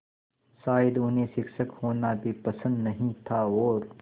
शायद उन्हें शिक्षक होना भी पसंद नहीं था और